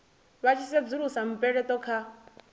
vha tshi sedzulusa mupeleto kha